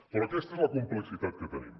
però aquesta és la complexitat que tenim